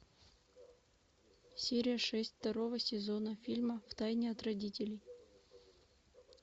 серия шесть второго сезона фильма втайне от родителей